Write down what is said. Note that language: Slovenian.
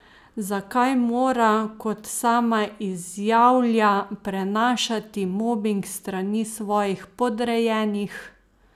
Zakaj mora, kot sama izjavlja, prenašati mobing s strani svojih podrejenih?